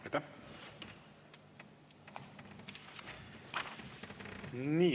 Aitäh!